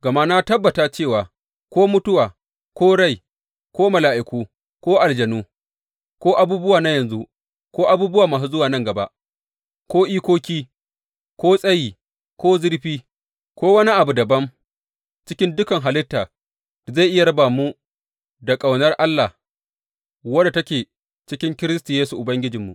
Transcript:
Gama na tabbata cewa ko mutuwa ko rai, ko mala’iku ko aljanu, ko abubuwa na yanzu ko abubuwa masu zuwa nan gaba, ko ikoki, ko tsayi ko zurfi, ko wani abu dabam cikin dukan halitta da zai iya raba mu da ƙaunar Allah wadda take cikin Kiristi Yesu Ubangijinmu.